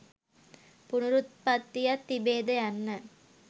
පුනරුප්පත්තියක් තිබේද යන්න